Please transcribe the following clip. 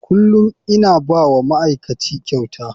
Kullum ina ba wa ma'aikaci kyauta.